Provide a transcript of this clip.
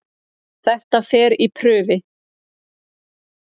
Þetta fer í prufi.